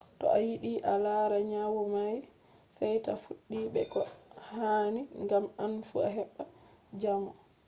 to a yiɗi a lara nyawu may sey ta fuɗɗi be ko hani ngam an fu a heɓɓa jamo